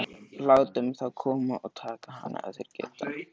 Látum þá koma og taka hana ef þeir geta.